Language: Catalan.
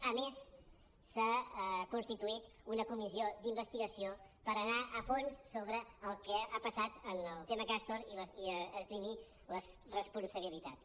a més s’ha constituït una comissió d’investigació per anar a fons sobre el que ha passat en el tema castor i esgrimir les responsabilitats